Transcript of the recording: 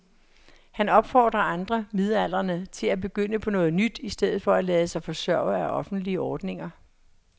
Han opfordrer andre midaldrende til at begynde på noget nyt i stedet for at lade sig forsørge af offentlige ordninger.